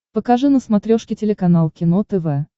покажи на смотрешке телеканал кино тв